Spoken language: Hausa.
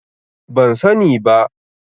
Ban sani ba.